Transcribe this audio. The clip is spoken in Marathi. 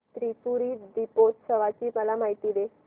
त्रिपुरी दीपोत्सवाची मला माहिती दे